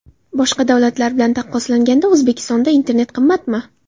Boshqa davlatlar bilan taqqoslanganda O‘zbekistonda internet qimmatmi?